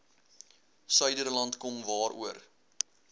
suiderland kom waaroor